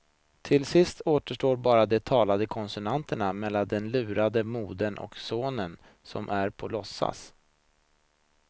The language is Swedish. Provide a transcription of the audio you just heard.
Till sist återstår bara de talande konsonanterna mellan den lurade modern och sonen som är på låtsas.